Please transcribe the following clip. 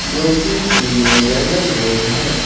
जो की female general ward है।